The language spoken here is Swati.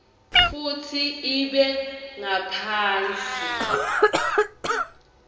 futsi ibe ngaphasi